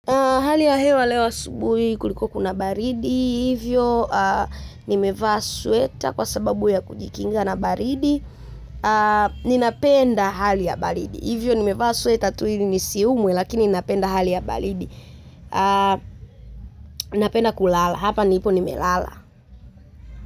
Hali ya hewa leo asubuhi kulikuwa kuna baridi, hivyo nimevaa sweta kwa sababu ya kujikinga na baridi. Ninapenda hali ya baridi, hivyo nimevaa sweta tu ili nisiumwe lakini ninapenda hali ya baridi. Napenda kulala, hapa nipo nimelala.